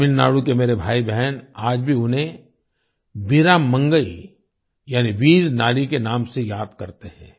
तमिलनाडु के मेरे भाईबहन आज भी उन्हें वीरा मंगई यानि वीर नारी के नाम से याद करते हैं